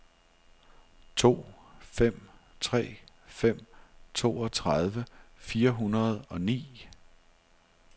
to fem tre fem toogtredive fire hundrede og ni